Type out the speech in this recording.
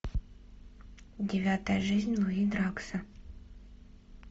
девятая жизнь луи дракса